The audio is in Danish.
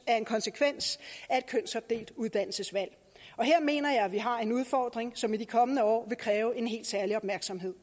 er en konsekvens af et kønsopdelt uddannelsesvalg her mener jeg vi har en udfordring som i de kommende år vil kræve en helt særlig opmærksomhed